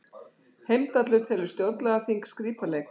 Heimdallur telur stjórnlagaþing skrípaleik